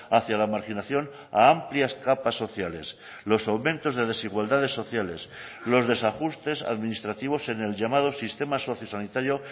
hacia la marginación a amplias capas sociales los aumentos de desigualdades sociales los desajustes administrativos en el llamado sistema sociosanitario